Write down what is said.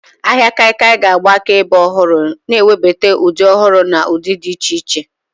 Ahịa kaikia ga-agba akaebe ọhụrụ, na-ewebata ụdị ọhụrụ na ụdị dị iche iche.